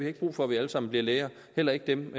ikke brug for at vi alle sammen bliver læger heller ikke dem